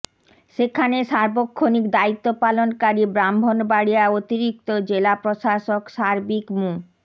সেখানে সার্বক্ষণিক দায়িত্ব পালনকারী ব্রাহ্মণবাড়িয়া অতিরিক্ত জেলা প্রশাসক সার্বিক মো